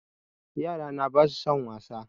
Yarana ba su son wasa